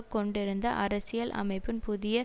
கொண்டிருந்த அரசியல் அமைப்பின் புதிய